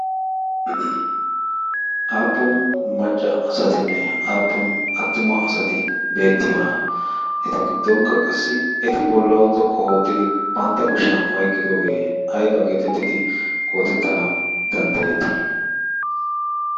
aappun macca asatinne aappun attuma asati beettiyoona? eta giddonkka qassi eti bollawu xoqqu oottidi pantta kushiyan oyqqidoogee ayba geetettidi xoogettanawu danddayettii?